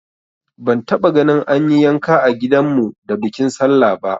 Ban taba gani an yi yanka a gidan mu da bikin sallah ba